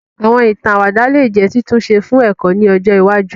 Àwọn ìtàn àwàdà lè jẹ́ títúnṣe fún ẹ̀kọ́ ni ọjọ iwájú